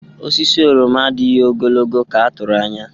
Osisi oroma adịghị ogologo ka a tụrụ anya.